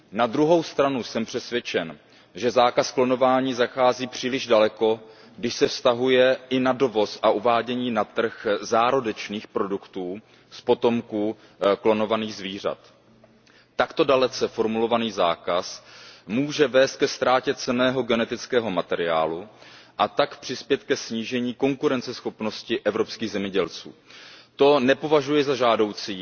Na druhou stranu jsem přesvědčen, že zákaz klonování zachází příliš daleko, když se vztahuje i na dovoz a uvádění na trh zárodečných produktů z potomků klonovaných zvířat. Takto dalece formulovaný zákaz může vést ke ztrátě cenného genetického materiálu, a tak přispět ke snížení konkurenceschopnosti evropských zemědělců. To nepovažuji za žádoucí